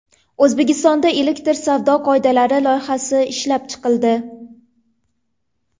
O‘zbekistonda elektron savdo qoidalari loyihasi ishlab chiqildi.